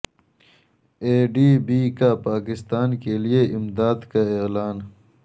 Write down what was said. اے D B کا پاکستان کے لیے امداد کا اعلان